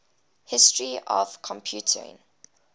history of computing